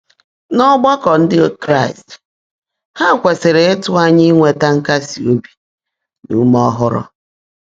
N'ọgbakọ Ndị Kraịst, ha kwesịrị ịtụ anya inweta nkasi obi na ume ọhụrụ.